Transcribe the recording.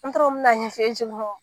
N t'a dɔn n bɛn'a ɲɛfɔ